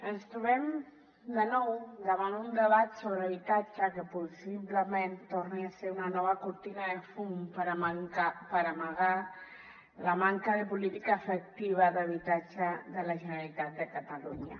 ens trobem de nou davant un debat sobre habitatge que possiblement torni a ser una nova cortina de fum per amagar la manca de política efectiva d’habitatge de la generalitat de catalunya